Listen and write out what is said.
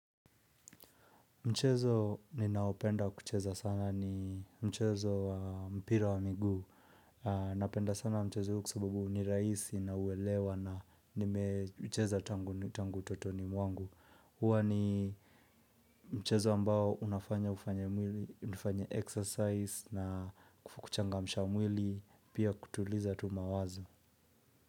Mchezo ni naopenda kucheza sana ni mchezo wa mpira wa miguu Napenda sana mchezo huko kwasababu ni raisi nauwelewa na nimecheza tangu utotoni mwangu. Hua ni mchezo ambao unafanya ufanye mwili, unifanya exercise na kuchangamsha mwili, pia kutuliza tu mawazo.